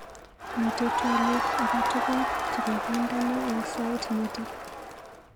Miite twalik akatukul chekakindena eng sait nito?